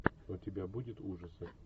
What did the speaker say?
у тебя будет ужасы